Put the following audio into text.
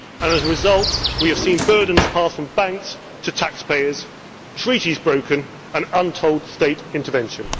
problems. As a result, we have seen burdens passed from banks to taxpayers, treaties broken and untold state intervention.